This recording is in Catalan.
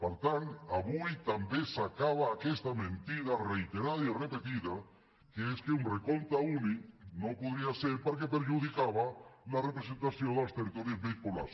per tant avui també s’acaba aquesta mentida reiterada i repetida que és que un recompte únic no podria ser perquè perjudicava la representació dels territoris menys poblats